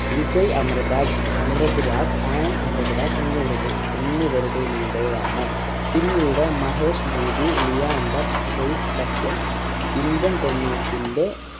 വിജയ് അമൃത അമൃത് രാജ് ആനന്ദ് അമൃത് രാജ് എന്നിവർടെ എന്നിവരിടെലൂടെയാണ് പിന്നീട് മഹേശ്ഭൂതി ലിയാണ്ടർ പെയ്‌സ് സഖ്യം indian tennis ന്റെ